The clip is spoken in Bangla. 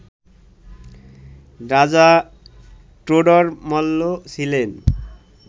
রাজা টোডর মল্ল ছিলেন